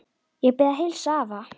Ég bið að heilsa afa.